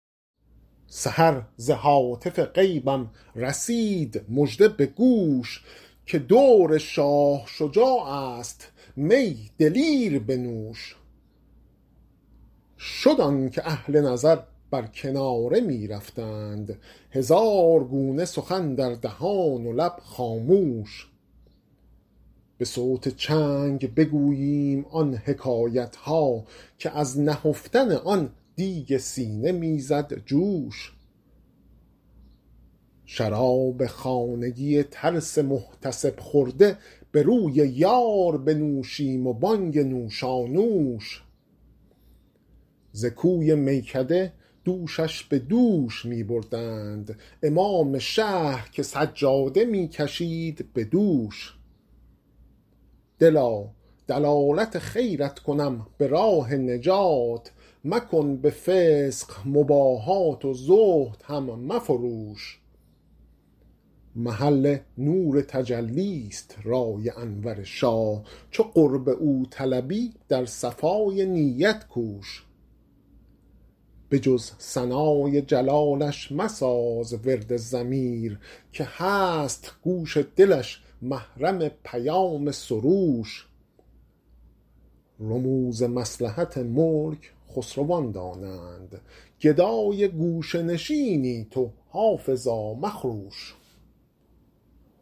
سحر ز هاتف غیبم رسید مژده به گوش که دور شاه شجاع است می دلیر بنوش شد آن که اهل نظر بر کناره می رفتند هزار گونه سخن در دهان و لب خاموش به صوت چنگ بگوییم آن حکایت ها که از نهفتن آن دیگ سینه می زد جوش شراب خانگی ترس محتسب خورده به روی یار بنوشیم و بانگ نوشانوش ز کوی میکده دوشش به دوش می بردند امام شهر که سجاده می کشید به دوش دلا دلالت خیرت کنم به راه نجات مکن به فسق مباهات و زهد هم مفروش محل نور تجلی ست رای انور شاه چو قرب او طلبی در صفای نیت کوش به جز ثنای جلالش مساز ورد ضمیر که هست گوش دلش محرم پیام سروش رموز مصلحت ملک خسروان دانند گدای گوشه نشینی تو حافظا مخروش